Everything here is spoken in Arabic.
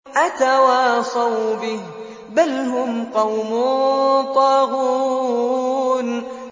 أَتَوَاصَوْا بِهِ ۚ بَلْ هُمْ قَوْمٌ طَاغُونَ